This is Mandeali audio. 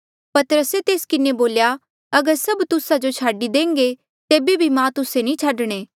पतरसे तेस किन्हें बोल्या अगर सभ तुस्सा जो छाडी देह्ंगे तेबे भी मां तुस्से नी छाडणे